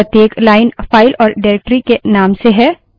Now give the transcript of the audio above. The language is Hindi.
अब प्रत्येक line file और directory के name से है